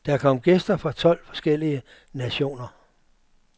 Der kom gæster fra tolv forskellige nationer.